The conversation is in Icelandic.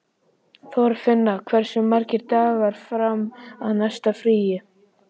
Þorfinna, hversu margir dagar fram að næsta fríi?